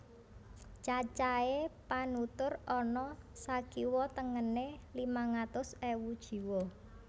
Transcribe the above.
Cacahé panutur ana sakiwa tengené limang atus ewu jiwa